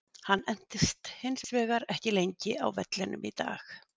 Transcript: Hann entist hins vegar ekki lengi á vellinum í dag.